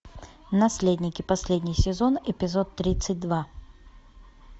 наследники последний сезон эпизод тридцать два